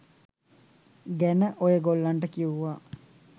ගැන ඔයගොල්ලන්ට කිව්වා